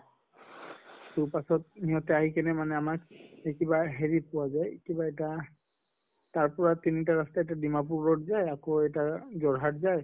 ত পাছত ইহঁতে আহি কিনে মানে আমাক হেৰিত লৈ গʼল কিবা এটা তাৰ পৰা তিন টা ৰাস্তাতে ডিমাপুৰ road গৈ আকৌ এটা যোৰহাট যায়